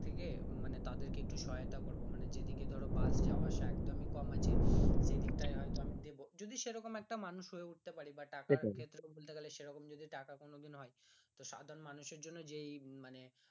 থেকে মানে তাদের একটু সহায়তা করবো মানে যেদিকে ধরো বাস যাওয়া আসা একদম ই কম আছে সেই দিকটাই হয়তো আমি হয়তো দেবো যদি সেইরকম একটা মানুষ হয়ে উঠতে পারি বা টাকার ক্ষেত্রে বলতে গেলে সেরকম যদি টাকা কোনোদিন হয় তো সাধারণ মানুষ এর জন্য যে